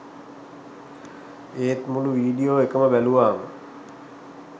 ඒත් මුළු වීඩියෝ එකම බැලුවම